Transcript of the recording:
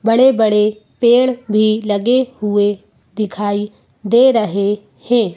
बड़े-बड़े पेड़ भी लगे हुए दिखाई दे रहे हैं।